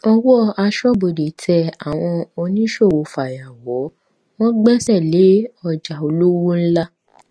owó aṣọbodè tẹ àwọn oníṣòwò fàyàwọ wọn gbéṣẹ lé ọjà olówó ńlá